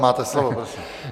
Máte slovo, prosím.